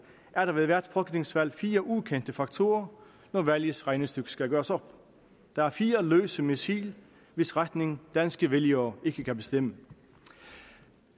er der ved hvert folketingsvalg fire ukendte faktorer når valgets regnestykke skal gøres op der er fire løse missiler hvis retning danske vælgere ikke kan bestemme